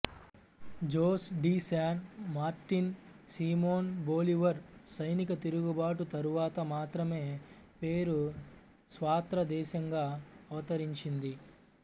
Jose de San Martin Simon Bolivar సైనికతిరుగుబాటు తరువాత మాత్రమే పెరూ స్వాత్రదేశంగా అవతరించింది